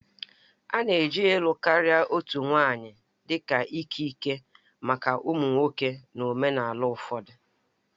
A na-eji ịlụ karịa otu nwanyị dị ka ikike maka ụmụ nwoke na omenala ụfọdụ